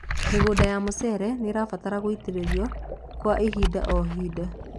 mĩgũnda ya mucere nĩrabatara gũitiririo kwa hĩndĩ o hĩndĩ